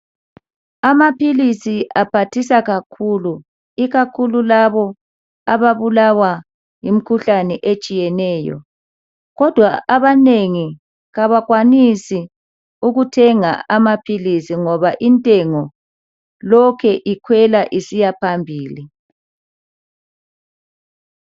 Amaphilisi aphathisa kakhulu .Ikakhulu labo ababulawa yimkhuhlane etshiyeneyo .Kodwa abanengi kabakwanisi ukuthenga amaphilisi ngoba intengo lokhe ikhwela isiyaphambili.